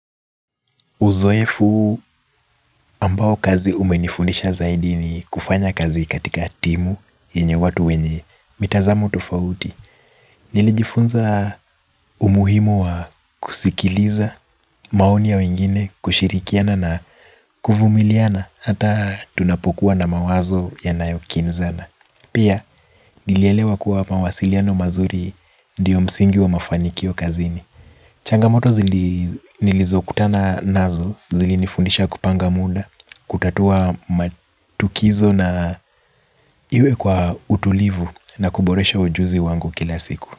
Uzoefu ambao kazi umenifundisha zaidi ni kufanya kazi katika timu yenye watu wenye mitazamo tofauti. Nilijifunza umuhimu wa kusikiliza maoni ya wengine, kushirikiana na kuvumiliana. Hata tunapokuwa na mawazo yanayokinzana pia nilielewa kuwa mawasiliano mazuri ndiyo msingi wa mafanikio kazini. Changamoto zili nilizokutana nazo zili nifundisha kupanga muda. Kutatua matukizo na iwe kwa utulivu na kuboresha ujuzi wangu kila siku.